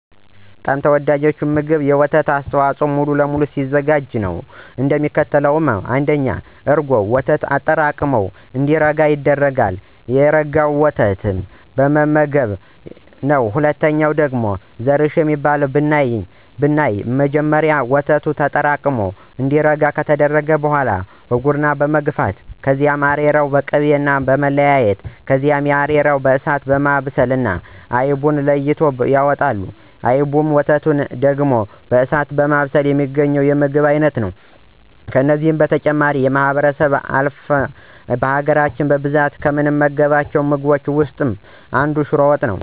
በጣም ተወዳጁ ምግብ የወተት አስተዋፆኦዎች በሙሉ ሲሆን አዘገጃጀቱም እንደሚከተለው ነው። ለምሳሌ1፦ እርጎ፦ ወተቱን አጠራቅሞ እንዲረጋ እና እንዲጠጥር ከተደረገ በኋላ መመገብ። ምሳሌ2፦ ዙረሽ የሚባለው ብናይ መጀመሪያ ወተቱ ተጠራቅሙ እንዲረጋ ከተደረገ በኋላ በጉርና መግፋት ከዚያ አሬራውንና ቅቤውን መለያየት ከዚያ አሬራውን በእሳት በማብሰል አይቡን ለይተው ያወጡታል። አይቡንና ወተቱን ዳግም በእሳት በማብሰል የሚገኘው የምግብን አይነት ነው። ከነዚህ በተጨማሪ ከማህበረሰባችን አልፍን በሀገራች በብዛት ከምንመገባቸው ምግቦች ውስጥ ሽሮ ነው።